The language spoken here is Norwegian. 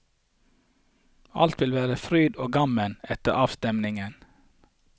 Alt vil være fryd og gammen etter avstemningen.